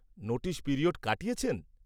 -Notice period কাটিয়েছেন?